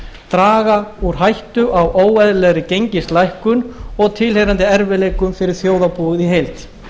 draga úr hættu á óeðlilegri gengislækkun og tilheyrandi erfiðleikum fyrir þjóðarbúið í heild